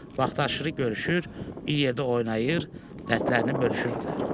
Vaxtaşırı görüşür, bir yerdə oynayır, dərdlərini bölüşürdülər.